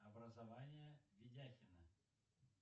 образование ведяхина